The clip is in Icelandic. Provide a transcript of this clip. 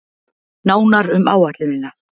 Nánar um áætlunina